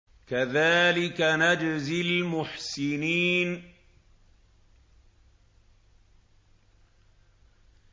كَذَٰلِكَ نَجْزِي الْمُحْسِنِينَ